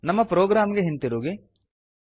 ನಮ್ಮ ಪ್ರೊಗ್ರಾಮ್ ಗೆ ಹಿಂತಿರುಗಿ